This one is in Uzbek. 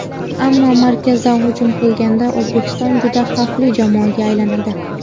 Ammo markazdan hujum qilganda O‘zbekiston juda xavfli jamoaga aylanadi.